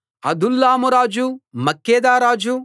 అదుల్లాము రాజు మక్కేదా రాజు